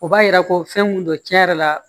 O b'a yira ko fɛn mun don tiɲɛ yɛrɛ la